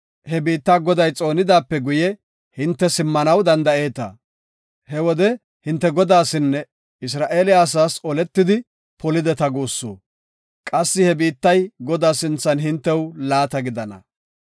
he biitta Goday xoonidaape guye hinte simmanaw danda7eeta. He wode hinte Godaasinne Isra7eele asaas oletidi polideta guussu. Qassi he biittay Godaa sinthan hintew laata gidana.